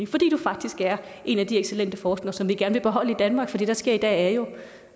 fordi du faktisk er en af de excellente forskere som vi gerne vil beholde i danmark for det der sker i dag er jo